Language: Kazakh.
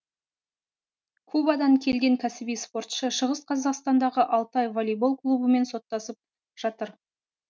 кубадан келген кәсіби спортшы шығыс қазақстандағы алтай волейбол клубымен соттасып жатыр